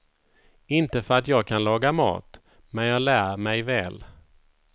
Inte för att jag kan laga mat, men jag lär mig väl.